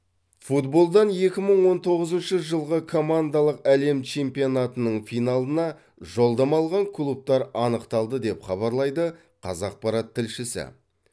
футболдан екі мың он тоғызыншы жылғы командалық әлем чемпионатының финалына жолдама алған клубтар анықталды деп хабарлайды қазақпарат тілшісі